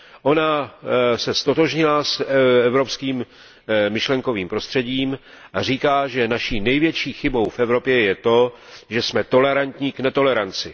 Ona se ztotožnila s evropským myšlenkovým prostředím a říká, že naší největší chybou v Evropě je to, že jsme tolerantní k netoleranci.